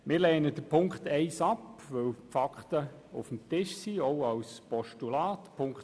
Wir lehnen Ziffer 1 ab, weil die Fakten – auch mit einem Postulat – auf dem Tisch liegen.